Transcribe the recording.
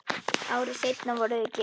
Ári seinna voru þau gift.